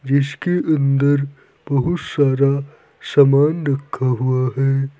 जिसके अंदर बहुत सारा सामान रखा हुआ है।